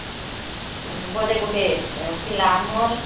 ବୋଧେ ଗୁଟେ ଥିଲା ଆମର